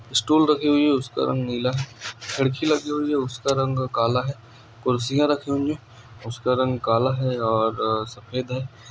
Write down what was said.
school रखी हुई उसका रंग नीला लड़की उसका रंग काला है कुर्सियां रखेंगे उसका रंग काला है और सफेद है